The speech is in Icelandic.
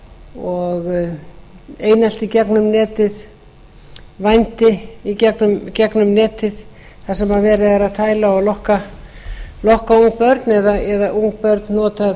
og einelti gegnum netið vændi í gegnum netið þar sem verið er að tæla og lokka ung börn eða ung